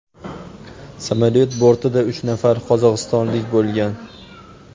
Samolyot bortida uch nafar qozog‘istonlik bo‘lgan.